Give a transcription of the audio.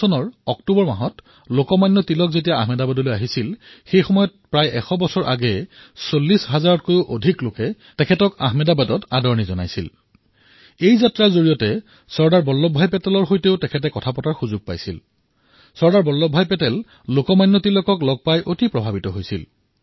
১৯১৬ চনত অক্টোবৰ মাহত লোকমান্য তিলক যেতিয়া আহমেদাবাদলৈ আহিছিল সেই সময়ত আজিৰ পৰা প্ৰায় এশ বছৰ পূৰ্বে ৪০০০০ত কৈও অধিক জনতাই তেওঁক আহমেদাবাদত স্বাগতম জনাইছিল আৰু এই যাত্ৰাৰ মাজতেই চৰ্দাৰ বল্লভ ভাই পেটেলে তেওঁৰ সৈতে কথা পতাৰ সুযোগ পাইছিল আৰু চৰ্দাৰ বল্লভ ভাই পেটেল লোকমান্য তিলকৰ দ্বাৰা যথেষ্ট প্ৰভাৱিত হৈছিল